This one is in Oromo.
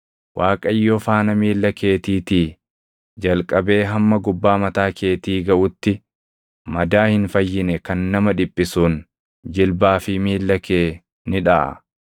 Waaqayyo faana miilla keetiitii jalqabee hamma gubbaa mataa keetii gaʼutti madaa hin fayyine kan nama dhiphisuun jilbaa fi miilla kee ni dhaʼa.